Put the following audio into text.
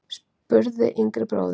spurði yngri bróðirinn.